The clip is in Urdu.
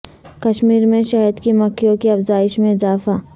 کشمیر میں شہد کی مکھیوں کی افزائش میں اضافہ